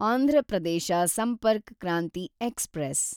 Andhra Pradesh Sampark Kranti express